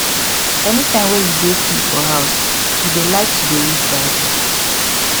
anytime wey e dey free for house he dey like to dey read bible